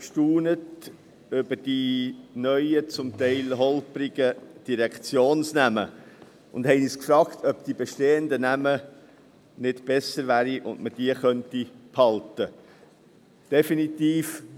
Wir von der EVP staunten über die neuen, zum Teil holprigen Direktionsnamen und fragten uns, ob die bestehenden Namen nicht besser wären und ob man diese behalten könnte.